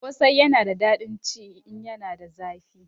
Kosai yana da dadin ci in yana da zafi